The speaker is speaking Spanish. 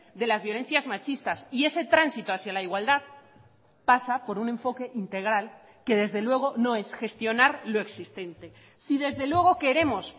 de las violencias machistas y ese tránsito hacia la igualdad pasa por un enfoque integral que desde luego no es gestionar lo existente si desde luego queremos